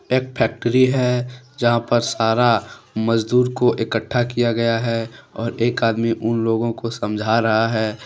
एक फैक्ट्री है जहां पर सारा मजदूर को इकट्ठा किया गया है और एक आदमी उन लोगों को समझा रहा है।